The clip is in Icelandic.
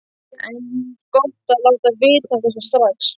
Eins gott að láta vita af þessu strax!